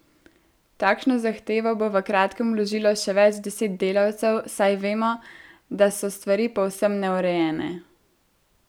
Takšno zahtevo bo v kratkem vložilo še več deset delavcev, saj vemo, da so stvari povsem neurejene.